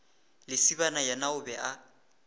lesibana yena o be a